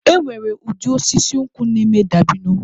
E nwere ụdị osisi nkwụ na-eme dabino